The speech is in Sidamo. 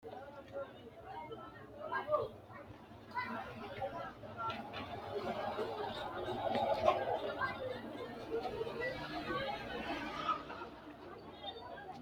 tini maa xawissanno misileeti ? mulese noori maati ? hiissinannite ise ? tini kultannori maati? Batto hiittotte ? Maashinne maa loosanni noo?